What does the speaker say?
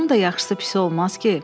Onun da yaxşısı pisi olmaz ki?